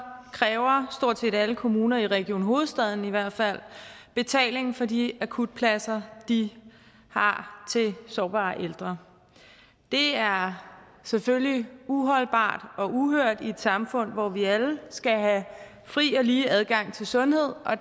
kræver stort set alle kommuner i region hovedstaden i hvert fald betaling for de akutpladser de har til sårbare ældre det er selvfølgelig uholdbart og uhørt i et samfund hvor vi alle skal have fri og lige adgang til sundhed og